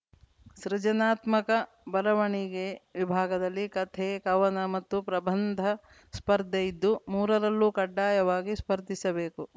ಸೃಜನಾತ್ಮಕ ಬರವಣಿಗೆ ವಿಭಾಗದಲ್ಲಿ ಕಥೆ ಕವನ ಮತ್ತು ಪ್ರಬಂಧ ಸ್ಪರ್ಧೆ ಇದ್ದು ಮೂರರಲ್ಲೂ ಕಡ್ಡಾಯವಾಗಿ ಸ್ಪರ್ಧಿಸಬೇಕು